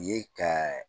Ye ka